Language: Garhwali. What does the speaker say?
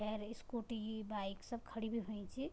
भैर स्कूटी बाइक सब खडी भी हुयीं च।